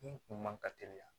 Bin kun man ka teliya